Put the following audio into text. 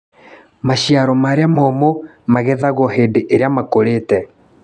Maciaro marĩa momũ magethagio hĩndĩ ĩrĩa makũrĩte